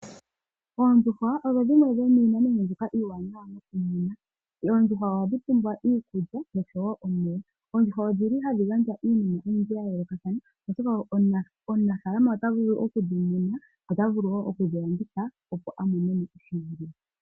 Oondjuhwa odho dhimwe dhomiinamwenyo mbyoka iiwanawa. Oondjuhwa ohadhi pumbwa iikulya nosho wo omeya. Oondjuhwa odhi li hadhi gandja iinima oyindji ya yoolokathana, oshoka omunafaalama ota vulu oku dhi muna nota vulu wo oku dhi landitha, opo a mone mo oshimaliwa.